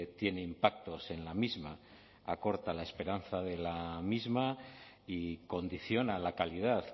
tiene impactos en la misma acorta la esperanza de la misma y condiciona la calidad